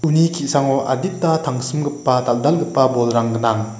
ki·sango adita tangsimgipa dal·dalgipa bolrang gnang.